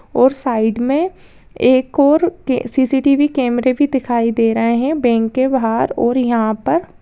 और साइड में एक ओर सी.सी.टी.वी. कैमरे भी दिखाई दे रहे है बैंक के बाहर और यहाँ पर --